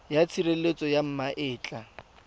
ya tshireletso ya ma etla